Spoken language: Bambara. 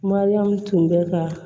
Mariyamu tun bɛ ka